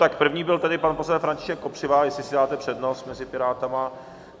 Tak první byl tedy pan poslanec František Kopřiva, jestli si dáte přednost mezi Piráty...